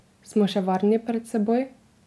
Smo še varni pred seboj?